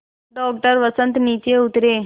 doctor Vasant नीचे उतरे